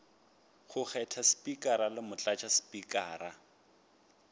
go kgetha spikara le motlatšaspikara